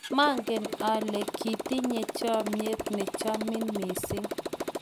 maangen ale kiitinye chomyet ne chomin mising